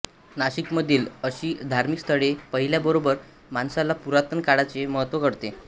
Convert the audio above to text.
नाशिकमधील अशी धार्मिक स्थळे पाहिल्याबरोबर माणसाला पुरातन काळाचे महत्त्व कळते